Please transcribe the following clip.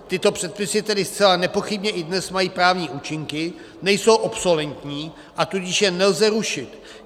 Tyto předpisy tedy zcela nepochybně i dnes mají právní účinky, nejsou obsoletní, a tudíž je nelze rušit.